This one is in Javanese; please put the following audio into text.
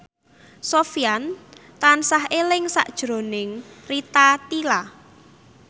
Sofyan tansah eling sakjroning Rita Tila